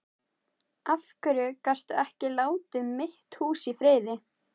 Af hverju gastu ekki látið mitt hús í friði?